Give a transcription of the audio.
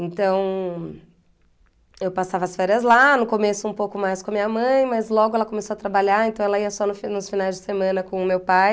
Então, eu passava as férias lá, no começo um pouco mais com a minha mãe, mas logo ela começou a trabalhar, então ela ia só no fi nos finais de semana com o meu pai.